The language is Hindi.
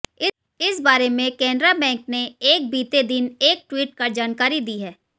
इस बारे में केनरा बैंक ने एक बीते दिन एक ट्वीट कर जानकारी दी है